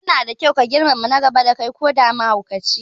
Yana da kyau ka girmama na gaba da kai koda mahaukacine